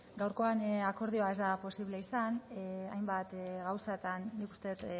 gaurkoan akordioa ez da posible izan hainbat gauzatan nik uste dut